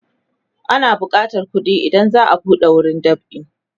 ana bukatan kuɗi idan za'a buɗe wurin dab'i